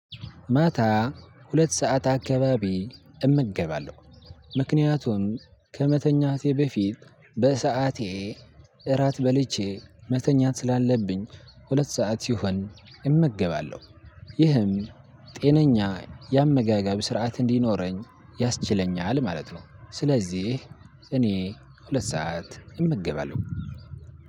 ማታ ሁለት ሰዓት አካባቢ እምገባለሁ ምክንያቱም ከመተኛቴ በፊት በሰአቴ እራት በልቼ መተኛት ስላለብኝ ሁለት ሰዓት ሲሆን እመገባለሁ። ይህም ጤነኛ የአመጋገብ ስርዓት እንዲኖረኝ ያስችለኛል ማለት ነው። ስለዚህ እኔ ሁለት ሰዓት እመገባለሁ።